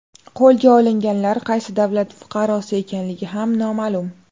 Qo‘lga olinganlar qaysi davlat fuqarosi ekanligi ham noma’lum.